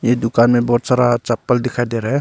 ये दुकान में बहुत सारा चप्पल दिखाई दे रहा है।